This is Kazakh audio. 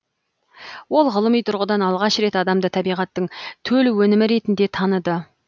ол ғылыми тұрғыдан алғаш рет адамды табиғаттың төл өнімі ретінде таныды